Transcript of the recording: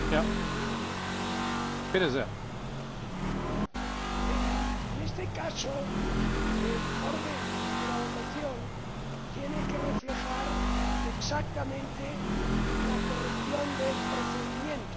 Señor Presidente, en este caso el orden de la votación tiene que reflejar exactamente la corrección del procedimiento.